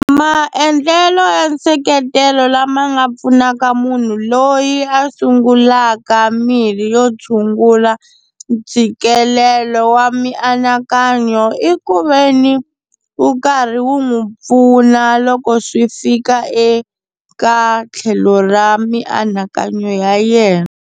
Maendlelo ya nseketelo lama nga pfunaka munhu loyi a sungulaka mirhi yo tshungula ntshikelelo wa mianakanyo, i ku veni wu karhi wu n'wi pfuna loko swi fika eka tlhelo ra mianakanyo ya yena.